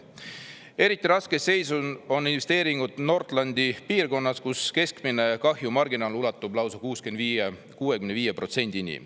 Eriti raskes seisundis on investeeringud Nordlandi piirkonnas, kus keskmine kahjumi marginaal ulatub lausa 65%-ni.